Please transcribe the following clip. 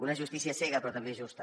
una justícia cega però també justa